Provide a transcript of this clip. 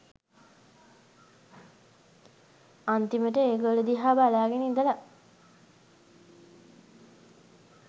අන්තිමට ඒගොල්ල දිහා බලාගෙන ඉඳලා